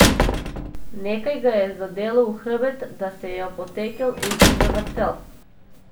Nekaj ga je zadelo v hrbet, da se je opotekel in se zavrtel.